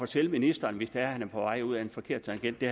til ministeren hvis han er på vej ud ad en forkert tangent det